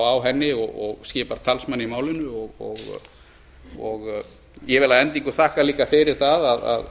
á henni og skipar talsmann í málinu ég vil að endingu þakka líka fyrir það að